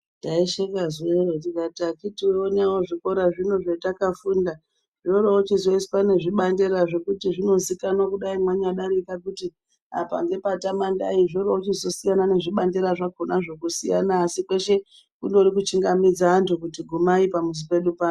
Taisheka zuvaro tikati akiti onaiwo zvikora zvino zvetakafunda zvoorochizoiswa nezvibanderazvo kuti zvinozikanwa dai manyadarika kuti apa ngepaTamandayi. Zvoorochizosiyana nezvibandera zvakonazvo kusiyana asi kweshe kundori kuchingamidza antu kuti gumai pamuzi pedu pano.